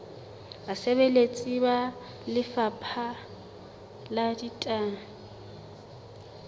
basebeletsi ba lefapha la ditaba